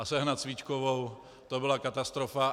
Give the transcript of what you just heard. A sehnat svíčkovou, to byla katastrofa.